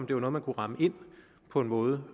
det var noget man kunne ramme ind på en måde